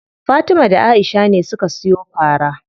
Fatima da Aisha ne suka siyo fara.